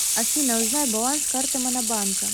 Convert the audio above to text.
афина узнай баланс карты монобанка